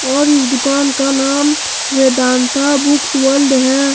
और इस दुकान का नाम वेदांत बुक्स वर्ल्ड है।